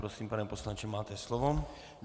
Prosím, pane poslanče, máte slovo.